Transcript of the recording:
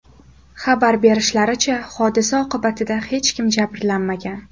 Xabar berishlaricha, hodisa oqibatida hech kim jabrlanmagan.